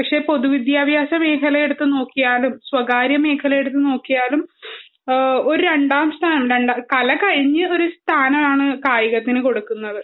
പക്ഷെ പൊതുവിദ്യാഭ്യാസ മേഖല എടുത്തുനോക്കിയാലും സ്വകാര്യ മേഖല എടുത്തുനോക്കിയാലും ഒരു രണ്ടാം സ്ഥാനം കല കഴിഞ്ഞു ഒരു സ്ഥാനമാണ് കായികത്തിനു കൊടുക്കുന്നത്